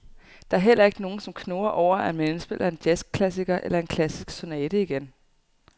Der er heller ikke nogen, som knurrer over, at man indspiller en jazzklassiker eller en klassisk sonate igen.